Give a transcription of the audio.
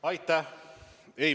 Aitäh!